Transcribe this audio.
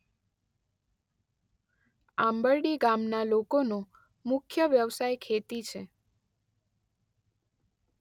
આંબરડી ગામના લોકોનો મુખ્ય વ્યવસાય ખેતી છે.